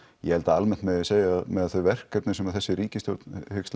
ég held að almennt megi segja með þau verkefni sem þessi ríkisstjórn hyggst